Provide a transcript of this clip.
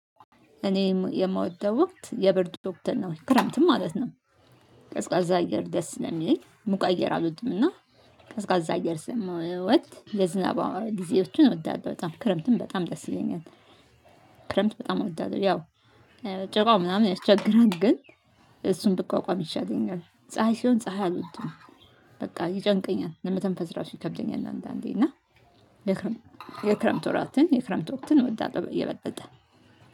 እኔ የምወደው ወቅት የብርድ ወቅትን ነው ክረምትን ማለት ነው። ቀዝቃዛ አየር ደስ ነው የሚለኝ ሙቅ አየር አልወድም እና ቀዝቃዛ አየር ስለምወድ ለዝናባ ጊዜዎችን እወዳለሁ በጣም ክረምትም በጣም ደስ ይለኛል። ክረምት በጣም እወዳለሁ። ያው ጭቃው ምናምን ያስቸግራል ግን እሱን ብቋቋም ይሻለኛል። ፀሀይ ሲሆን ፀሀይ አልወድም። በቃ ይጨንቀኛል ለመተንፈስ ራሱ ይከብደኛል አንዳንዴ እና። የክረምት ወራትን የክረምት ወቅትን እወዳለሁ የበለጠ